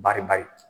Bari bari